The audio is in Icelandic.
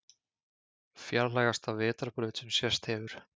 Fjarlægasta vetrarbraut sem sést hefur